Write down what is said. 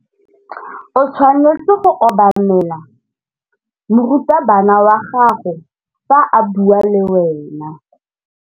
O tshwanetse go obamela morutabana wa gago fa a bua le wena.